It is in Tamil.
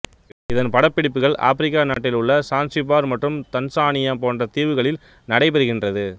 இதன் படப்பிடிப்புகள் ஆப்பிரிக்கா நாட்டில் உள்ள சான்சிபார் மற்றும் தன்சானியா போன்ற தீவுகளில் நடைபெறுகின்றது